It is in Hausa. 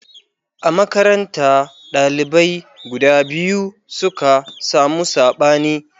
A makaranta, dalibai guda biyu suka samu sabani.